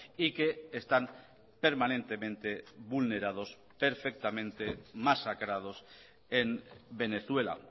y que están permanentemente vulnerados perfectamente masacrados en venezuela